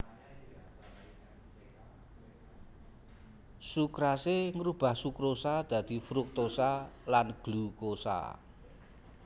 Sukrase ngrubah sukrosa dadi fruktosa lan glukosa